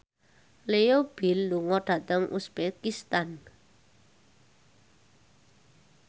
Leo Bill lunga dhateng uzbekistan